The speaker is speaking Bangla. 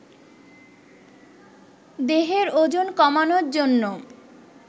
দেহের ওজন কমানোর জন্য